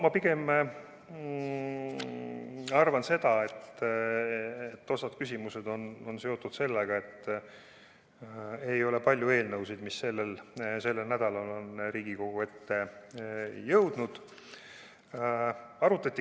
Ma pigem arvan seda, et osa küsimusi on seotud sellega, et ei ole palju eelnõusid, mis sellel nädalal on Riigikogu ette jõudnud.